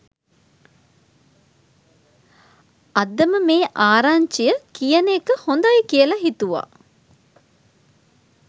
අදම මේ ආරංචිය කියන එක හොදයි කියල හිතුවා